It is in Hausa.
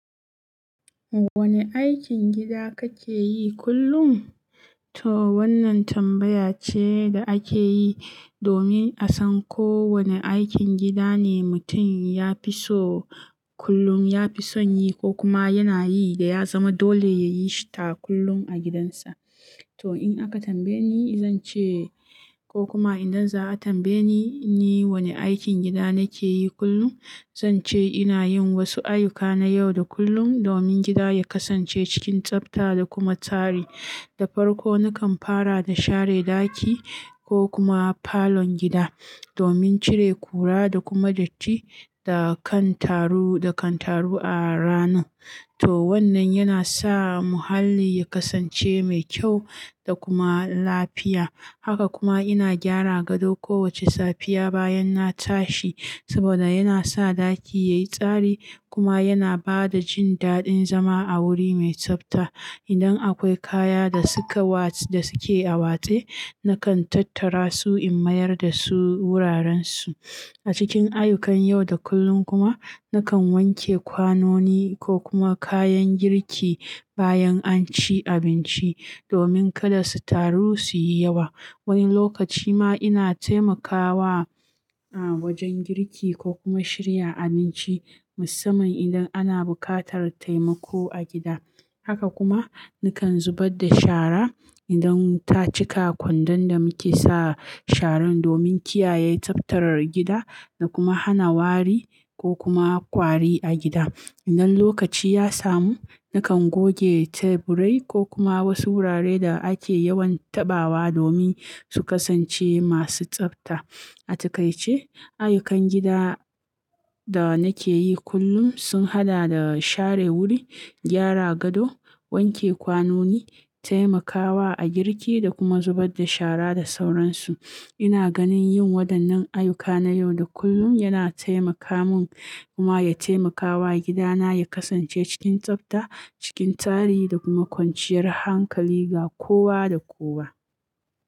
Wane aikin gida kake yi kullum? To wannan tambaya ce da ake yi domin a san ko wane aikin gida ne mutum ya fi so kullum, ya fi son yi ko kuma yana yi da ya zama dole yayi shi ta kullum a gidansa. To in aka tambaye ni, zan ce ko kuma idan za a tambaye ni wane aikin gida nake yi kullum, zan ce ina yin wasu ayyuka na yau da kullum domin gida ya kasance cikin tsabta da kuma tsari. Da farko nakan fara da share ɗaki ko kuma falon gida domin cire kura da kuma datti da kan taru, da kan taru a ranar. To wannan yana sa muhalli ya kasance mai kyau da kuma lafiya. Haka kuma ina gyara gado kowace safiya bayan na tashi saboda yana sa ɗaki yayi tsari kuma yana ba da jin daɗin zama a wuri mai tsabta. Idan akwai kaya da suka wats-- da suke a watsai, nakan tattara su in mayar da su wurarensu. A cikin ayyukan yau da kullum kuma nakan wanke kwanoni ko kuma kayan girki bayan an ci abinci domin kada su taru su yi yawa. Wani lokaci ma ina taimakawa a wajen girki ko kuma shirya abinci musamman idan ana buƙatar taimako a gida. Haka kuma nakan zubar da shara idan ta cika kwandon da muke sa sharan domin kiyaye tsaftar gida da kuma hana wari ko kuma kwari a gida. Idan lokaci ya samu, nakan goge teburi ko kuma wasu wuraren da ake yawan taɓawa domin su kasance masu tsafta. A takaice, ayyukan gida da nake yi kullum sun haɗa da share wuri, gyara gado, wanke kwanoni, taimakawa a girki da kuma zubar da shara da sauransu. Ina ganin yin waɗannan ayyuka na yau da kullum yana taimaka mun kuma ya taimakawa gidana ya kasance cikin tsabta, cikin tsari da kuma kwanciyar hankali ga kowa da kowa.